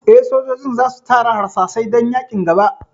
Eh, sojojin za su tara harsashai dan yaƙin gaba